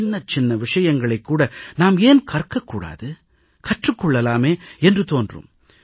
சின்னச் சின்ன விஷயங்களைக் கூட நாம் ஏன் கற்க கூடாது கற்றுக் கொள்ளலாமே என்று தோன்றும்